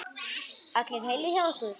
Allir heilir hjá ykkur?